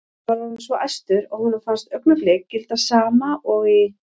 Hann var orðinn svo æstur að honum fannst augnablik gilda sama og í